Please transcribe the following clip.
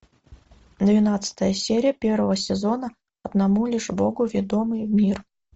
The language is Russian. двенадцатая серия первого сезона одному лишь богу ведомый мир